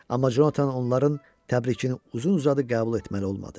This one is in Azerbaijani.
Amma Conatan onların təbrikini uzun-uzadı qəbul etməli olmadı.